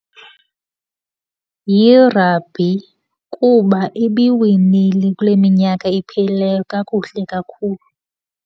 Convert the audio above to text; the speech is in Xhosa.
Yi-rugby kuba ibiwinile kule minyaka iphelileyo kakuhle kakhulu.